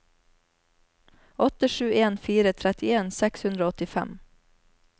åtte sju en fire trettien seks hundre og åttifem